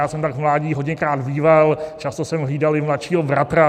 Já jsem tak v mládí hodněkrát býval, často jsem hlídal i mladšího bratra.